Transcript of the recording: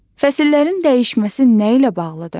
Fəsillərin dəyişməsi nə ilə bağlıdır?